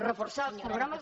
reforçar els programes